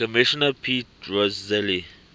commissioner pete rozelle